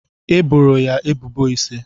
E boro ya ebubo ise.